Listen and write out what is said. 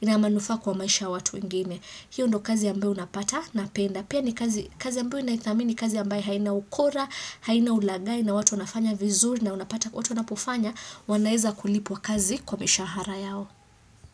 ina manufa kwa maisha watu ingine. Hiyo ndo kazi ambayo unapata na penda. Pia ni kazi ambeyo unaitami ni kazi yambe haina ukora, haina ulaghai na watu unafanya vizuri na watu unapufanya, wanaeza kulipwa kazi kwa mishahara yao.